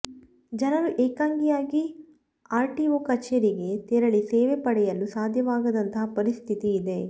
ಜನರು ಏಕಾಂಗಿಯಾಗಿ ಆರ್ಟಿಒ ಕಚೇರಿಗೆ ತೆರಳಿ ಸೇವೆ ಪಡೆಯಲು ಸಾಧ್ಯವಾಗದಂತಹ ಪರಿಸ್ಥಿತಿ ಇದೆ